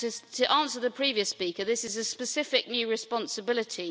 To answer the previous speaker, this is a specific new responsibility.